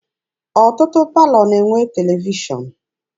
Ọtụtụ palọ na-enwe televishọn.